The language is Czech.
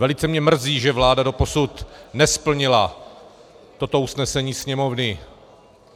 Velice mě mrzí, že vláda doposud nesplnila toto usnesení Sněmovny.